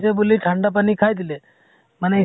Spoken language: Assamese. বুলি ঠাণ্ডা পানী খাই দিলে । মানে